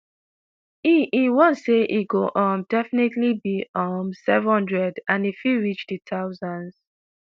e e warn say e go um "definitely be um several hundred" and e fit reach di thousands.